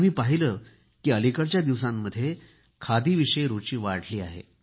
मी पाहिले की अलिकडच्या दिवसांमध्ये खादीविषयी रूची वाढली आहे